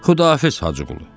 Xüdahafiz Hacıqulu.